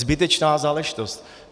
Zbytečná záležitost.